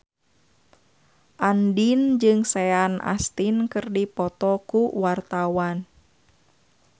Andien jeung Sean Astin keur dipoto ku wartawan